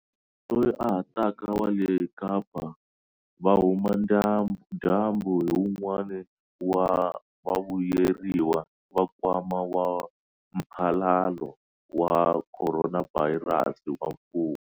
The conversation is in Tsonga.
Loyi a ha taka wa le Kapa-Vuhumadyambu hi un'wana wa vavuyeriwa va Nkwama wa Mphalalo wa Khoronavhayirasi wa mfumo.